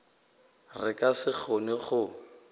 re ka se kgone go